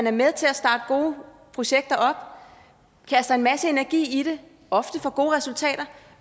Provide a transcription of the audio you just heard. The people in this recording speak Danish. er med til at starte gode projekter op kaster en masse energi i det og ofte får gode resultater